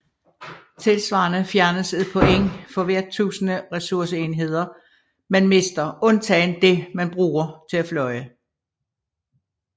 Tilsvarende fjernes et point for hvert tusinde ressourceenheder man mister undtagen det man bruger til at flyve